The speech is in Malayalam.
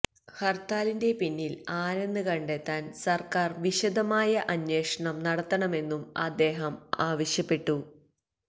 ഹര്ത്താലിന്റെ പിന്നില് ആരെന്ന് കണ്ടെത്താന് സര്ക്കാര് വിശദമായ അന്വേഷണം നടത്തണമെന്നും അദ്ദേഹം ആവശ്യപ്പെട്ടു